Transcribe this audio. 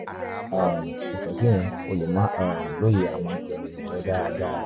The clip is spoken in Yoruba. um yàtọ̀ síyẹn o lè má um lóye àwọn ìròyìn rẹ dáadáa